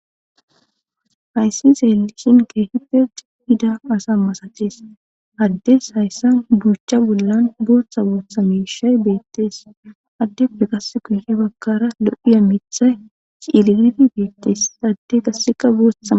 Hayssi zeelishin keehipe cigida asa masachees addes hayssa buuchcha bollan bootha bootha meshay beettees addeppe qas kuye bakara lo'iya mitha ciiliidi beettees adde gasseka boothama.